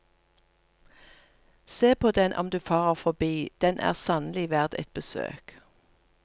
Se på den om du farer forbi, den er sannelig verd et besøk.